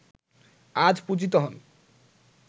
আজ পূজিত হন